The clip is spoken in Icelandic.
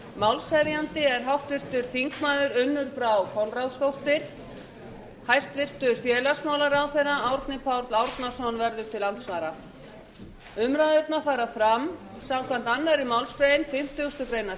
málshefjandi er háttvirtur þingmaður unnur brá konráðsdóttir hæstvirts félagsmálaráðherra árni páll árnason verður til andsvara umræðurnar fara fram samkvæmt annarri málsgrein fimmtugustu grein